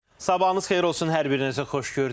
Sabahınız xeyir olsun hər birinizə, xoş gördük.